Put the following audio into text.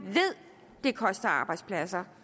ved koster arbejdspladser